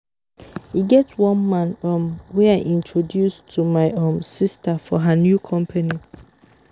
E get one man um wey I introduce to my um sister for her new company